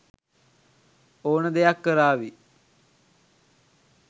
ඕන දෙයක් කරාවි.